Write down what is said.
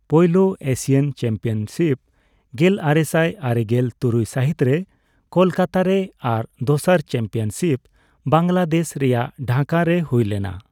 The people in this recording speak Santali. ᱯᱳᱭᱞᱳ ᱮᱥᱤᱭᱟᱱ ᱪᱟᱢᱯᱤᱭᱚᱱᱥᱤᱯ ᱜᱮᱞᱟᱨᱮᱥᱟᱭ ᱟᱨᱮᱜᱮᱞ ᱛᱩᱨᱩᱭ ᱥᱟᱹᱦᱤᱛ ᱨᱮ ᱠᱚᱞᱠᱟᱛᱟᱨᱮ ᱟᱨ ᱫᱚᱥᱟᱨ ᱪᱟᱢᱯᱤᱭᱚᱱᱥᱤᱯ ᱵᱟᱝᱞᱟᱫᱮᱥ ᱨᱮᱭᱟᱜ ᱰᱷᱟᱠᱟ ᱨᱮ ᱦᱩᱭ ᱞᱮᱱᱟ ᱾